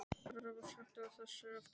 Róbert, slökktu á þessu eftir átta mínútur.